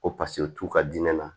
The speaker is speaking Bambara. Ko paseke o t'u ka diinɛ na